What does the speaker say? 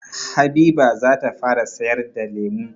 Habiba zata fara sayar da lemu.